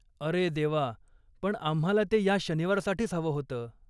अरे देवा, पण आम्हाला ते ह्या शनिवारसाठीच हवं होतं.